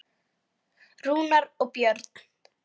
Rúnar og Björn.